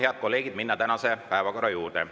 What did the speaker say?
Head kolleegid, saame minna tänase päevakorra juurde.